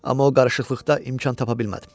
Amma o qarışıqlıqda imkan tapa bilmədim.